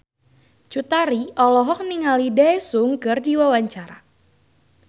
Cut Tari olohok ningali Daesung keur diwawancara